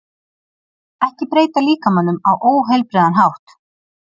Ekki breyta líkamanum á óheilbrigðan hátt